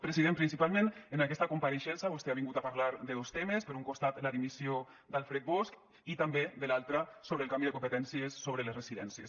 president principalment en aquesta compareixença vostè ha vingut a parlar de dos temes per un costat la dimissió d’alfred bosch i també de l’altre sobre el canvi de competències sobre les residències